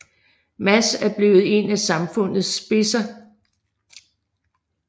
Mads er blevet en af samfundets spidser